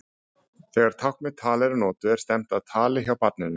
Þegar tákn með tali eru notuð er stefnt að tali hjá barninu.